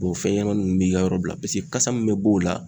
fɛn ɲɛnamaninw bɛ i ka yɔrɔ bila kasa min bɛ bɔ o la.